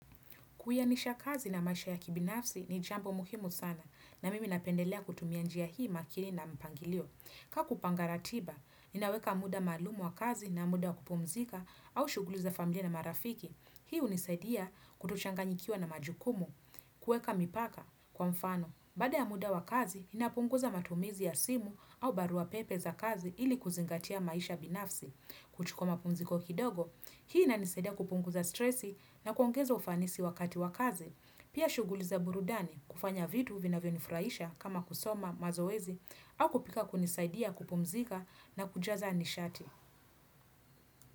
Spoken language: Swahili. Kuainisha kazi na maisha ya kibinafsi ni jambo muhimu sana na mimi napendelea kutumia njia hii makini na mpangilio. Ka kupanga ratiba, ninaweka muda maalum wa kazi na muda wa kupumzika au shuguli za familia na marafiki. Hii hunisaidia kutochanganyikiwa na majukumu, kueka mipaka kwa mfano. Baada ya muda wa kazi, ninapunguza matumizi ya simu au barua pepe za kazi ili kuzingatia maisha binafsi. Kuchukua mapumziko kidogo, hii inanisaidia kupunguza stresi na kuongeza ufanisi wakati wa kazi, pia shuguli za burudani kufanya vitu vinavyonifuraisha kama kusoma mazoezi au kupika kunisaidia kupumzika na kujaza nishati.